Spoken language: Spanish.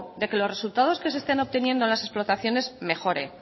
de que los resultados que se están obteniendo en las explotaciones mejore